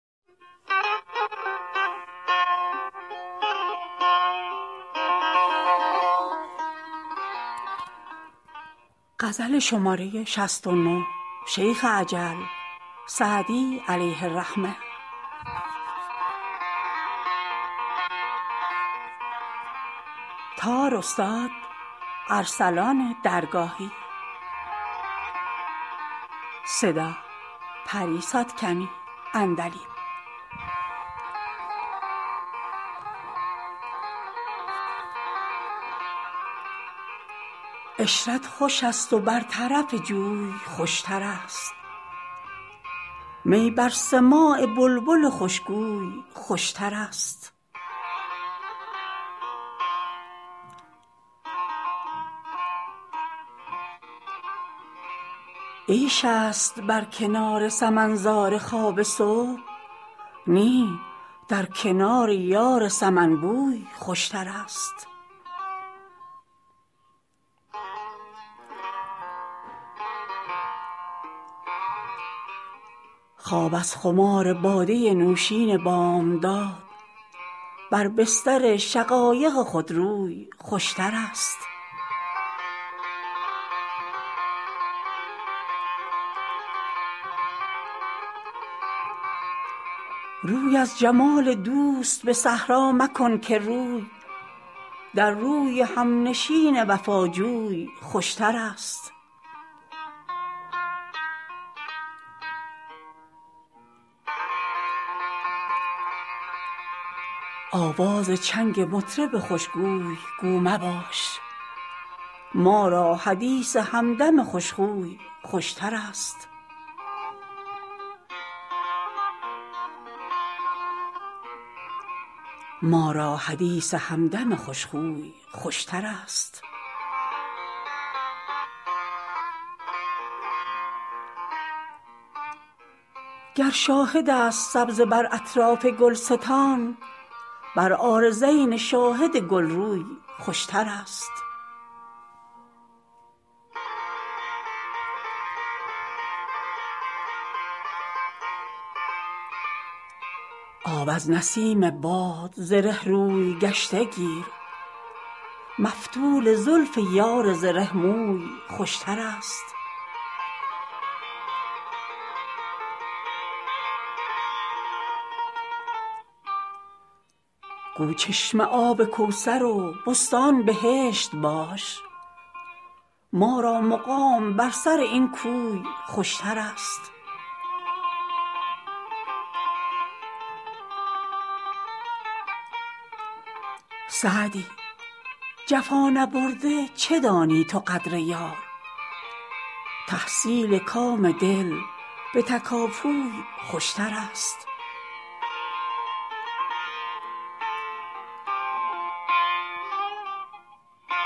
عشرت خوش است و بر طرف جوی خوشترست می بر سماع بلبل خوشگوی خوشترست عیش است بر کنار سمن زار خواب صبح نی در کنار یار سمن بوی خوشترست خواب از خمار باده نوشین بامداد بر بستر شقایق خودروی خوشترست روی از جمال دوست به صحرا مکن که روی در روی همنشین وفاجوی خوشترست آواز چنگ مطرب خوشگوی گو مباش ما را حدیث همدم خوشخوی خوشترست گر شاهد است سبزه بر اطراف گلستان بر عارضین شاهد گلروی خوشترست آب از نسیم باد زره روی گشته گیر مفتول زلف یار زره موی خوشترست گو چشمه آب کوثر و بستان بهشت باش ما را مقام بر سر این کوی خوشترست سعدی جفا نبرده چه دانی تو قدر یار تحصیل کام دل به تکاپوی خوشترست